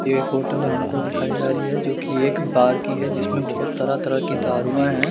ये फोटो अगर हमको दिखाई जा रही है जो की एक बार की है जिसमे बोहोत तरह तरह के दरुऐ है ।